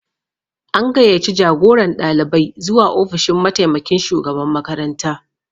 An gayyaci jagoran ɗalibai zuwa ofishin mataimakin shugaban makaranta